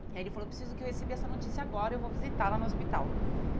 Aí ele falou, eu preciso que eu recebi essa notícia agora, eu vou visitá-la no hospital.